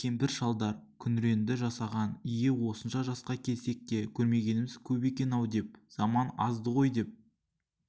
кемпір-шалдар күңіреңді жасаған ие осынша жасқа келсек те көрмегеніміз көп екен-ау деп заман азды ғой деп